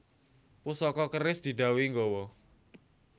Pusaka keris didhawuhi nggawa